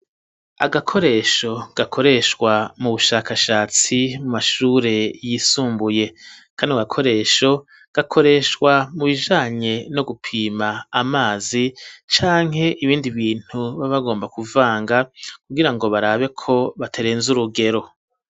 Agakoresho gakoreshwa mu bushakashatsi mu mashure yisumbuye, kano gakoresho gakoreshwa mu bijanye no gupima amazi canke ibindi bintu baba bagomba kuvanga kugira ngo barabe ko batarenze urugero.